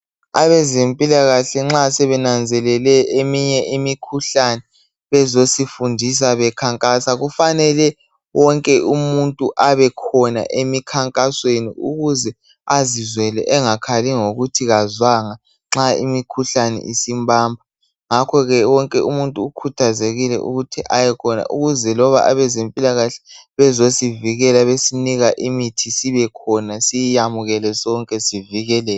Abezempilakahle nxa sebenanzelele eminye imikhuhlane bezosifundisa bekhankasa kufanele wonke umuntu abekhona emikhankasweni ukuze azizwele engakhali ngokuthi akazwanga nxa imikhuhlane isimbamba ngakho ke wonke umuntu ukhathazekile ukuthi abekhona ukuze loba abezempilakahle bezosivikela besinika imithi sibekhona siyiyamukele sonke sivikeleke